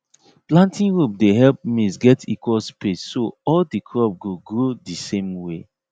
planting rope dey help maize get equal space so all the crop go grow the same way